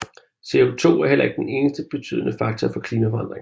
CO2 er heller ikke den eneste betydende faktor for klimaforandringer